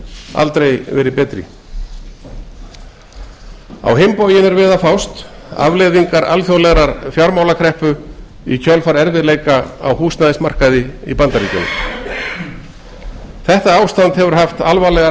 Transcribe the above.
aldrei verið betri á hinn bóginn er við að fást afleiðingar alþjóðlegar fjármálakreppu í kjölfar erfiðleika á húsnæðismarkaði í bandaríkjunum þetta ástand hefur haft alvarlegar